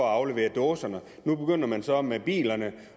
afleverede dåserne nu begynder man så med bilerne